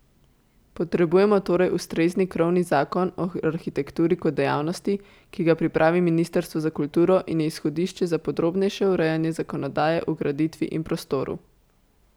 Potrebujemo torej ustrezni krovni zakon o arhitekturi kot dejavnosti, ki ga pripravi ministrstvo za kulturo in je izhodišče za podrobnejše urejanje zakonodaje o graditvi in prostoru.